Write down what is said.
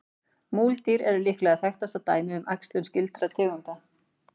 Múldýr er líklega þekktasta dæmið um æxlun skyldra tegunda.